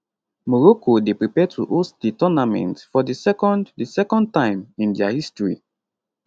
morocco dey prepare to host di tournament for di second di second time in dia history